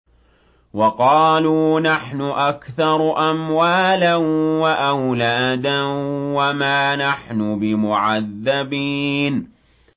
وَقَالُوا نَحْنُ أَكْثَرُ أَمْوَالًا وَأَوْلَادًا وَمَا نَحْنُ بِمُعَذَّبِينَ